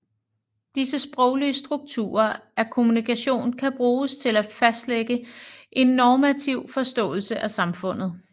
Disse sproglige strukturer af kommunikationen kan bruges til at fastlægge en normativ forståelse af samfundet